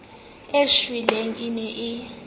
e shweleng e ne e